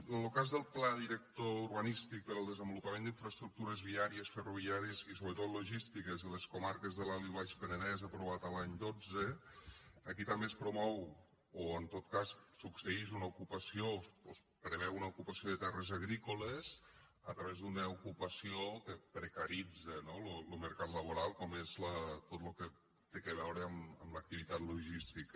en lo cas del pla director urbanístic per al desenvolupament d’infraestructures viàries ferroviàries i sobretot logístiques de les comarques de l’alt i el baix penedès aprovat l’any dotze aquí també es promou o en tot cas succeïx una ocupació o es preveu una ocupació de terres agrícoles a través d’una ocupació que precaritza no lo mercat laboral com és tot lo que té a veure amb l’activitat logística